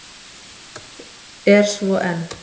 Er svo enn.